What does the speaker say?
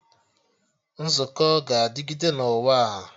Nzukọ ga-adịgịde na ụwa a